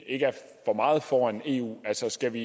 ikke er for meget foran eu altså skal vi